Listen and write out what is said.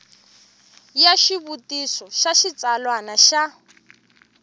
ya xivutiso xa xitsalwana xa